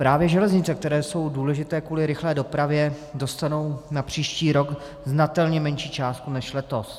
Právě železnice, které jsou důležité kvůli rychlé dopravě, dostanou na příští rok znatelně menší částku než letos.